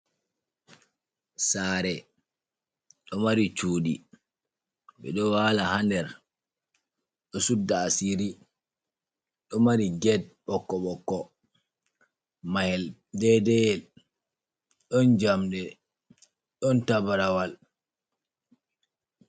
Saare, ɗo mari cuuɗi. Ɓe ɗo waala ha nder, ɗo sudda asiri Ɗo mari get ɓokko-ɓokko, mahel dedeiyel, ɗon jamɗe ɗon tabrawal.